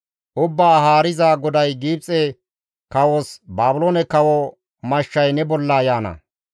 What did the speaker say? «Ubbaa Haariza GODAY Gibxe kawos, ‹Baabiloone kawo mashshay ne bolla yaana.